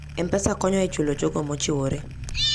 M-Pesa konyo e chulo jogo mochiwore.